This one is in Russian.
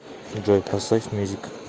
салют включи исполнителя екали